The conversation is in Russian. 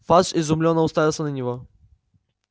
фадж изумлённо уставился на него